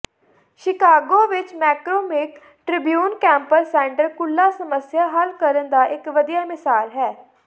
Chicago ਵਿਚ McCormick Tribune campus centre ਕੁੱਲ੍ਹਾ ਸਮੱਸਿਆ ਹੱਲ ਕਰਨ ਦਾ ਇਕ ਵਧੀਆ ਮਿਸਾਲ ਹੈ